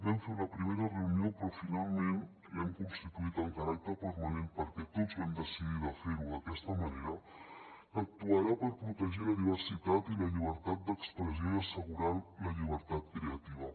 vam fer una primera reunió però finalment l’hem constituït amb caràcter permanent perquè tots vam decidir de fer ho d’aquesta manera que actuarà per protegir la diversitat i la llibertat d’expressió i assegurar la llibertat creativa